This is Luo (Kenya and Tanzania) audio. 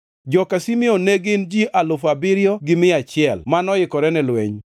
joka Simeon ne gin ji alufu abiriyo gi mia achiel (7,100) mano oikore ne lweny,